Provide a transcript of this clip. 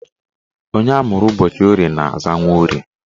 Onye amụrụ ụbọchị Orie na-aza Nworie